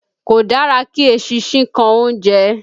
Kò dára kí eṣinṣin kan oúnjẹ